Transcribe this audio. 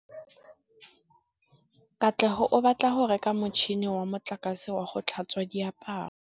Katlego o batla go reka motšhine wa motlakase wa go tlhatswa diaparo.